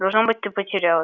должно быть ты потерялась